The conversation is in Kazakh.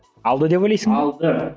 алды деп ойлайсың ба алды